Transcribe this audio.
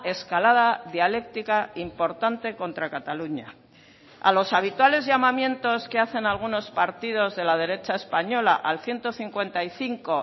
escalada dialéctica importante contra cataluña a los habituales llamamientos que hacen algunos partidos de la derecha española al ciento cincuenta y cinco